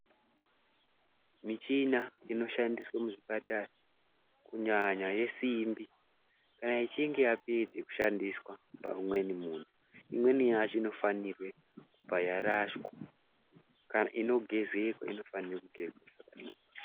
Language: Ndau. Michina inoshandiswa muzvipatara kunyanya yesimbi kana ichinge yapedze kushandiswa paumweni muntu, imweni yacho inofanirwe kubva yarashwa kana inogezeka inofana kugezwa.